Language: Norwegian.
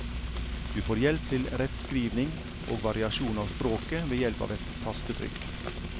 Du får hjelp til rettskrivning og variasjon av språket ved hjelp av et tastetrykk.